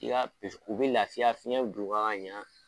N'i y'a u bɛ lafiya fiyɛn bɛ don u kan ka ɲɛn.